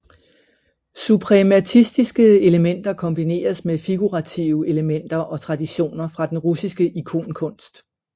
Suprematistiske elementer kombineres med figurative elementer og traditioner fra den russiske ikonkunst